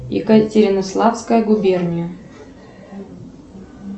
екатеринославская губерния